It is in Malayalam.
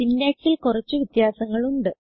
syntaxൽ കുറച്ച് വ്യത്യാസങ്ങൾ ഉണ്ട്